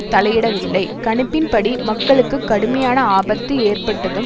தலையிடவில்லை கணிப்பின்படி மக்களுக்கு கடுமையான ஆபத்து ஏற்பட்டதும்